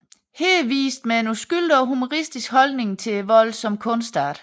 Her vist med en uskyldig og humoristisk holdning til volden som kunstart